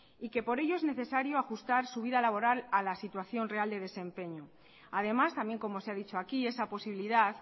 y que por ello es necesario ajustar su vida laboral a la situación real de desempeño además también como se ha dicho aquí esa posibilidad